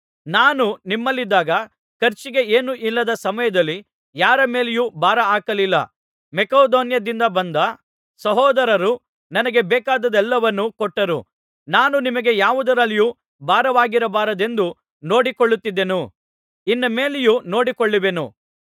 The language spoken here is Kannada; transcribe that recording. ನಾನು ನಿಮ್ಮಲ್ಲಿದ್ದಾಗ ಖರ್ಚಿಗೆ ಏನೂ ಇಲ್ಲದ ಸಮಯದಲ್ಲಿ ಯಾರ ಮೇಲೆಯೂ ಭಾರ ಹಾಕಲಿಲ್ಲ ಮಕೆದೋನ್ಯದಿಂದ ಬಂದ ಸಹೋದರರು ನನಗೆ ಬೇಕಾದದ್ದೆಲ್ಲವನ್ನೂ ಕೊಟ್ಟರು ನಾನು ನಿಮಗೆ ಯಾವುದರಲ್ಲಿಯೂ ಭಾರವಾಗಿರಬಾರದೆಂದು ನೋಡಿಕೊಳ್ಳುತ್ತಿದ್ದೆನು ಇನ್ನು ಮೇಲೆಯೂ ನೋಡಿಕೊಳ್ಳುವೆನು